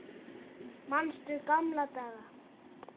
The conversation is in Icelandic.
Manstu gamla daga?